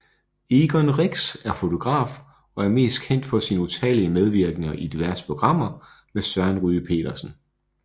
Egon Rix er fotograf og er mest kendt for sine utallige medvirkener i diverse programmer med Søren Ryge Petersen